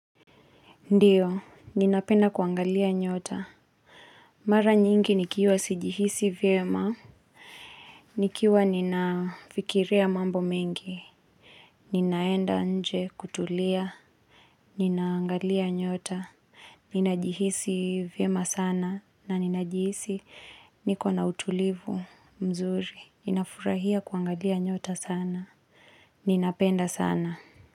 Ndiyo, ninapenda kuangalia nyota. Mara nyingi nikiwa sijihisi vyema, nikiwa ninafikiria mambo mengi, ninaenda nje kutulia, ninaangalia nyota, ninajihisi vyema sana na ninajihisi niko na utulivu mzuri, ninafurahia kuangalia nyota sana, ninapenda sana.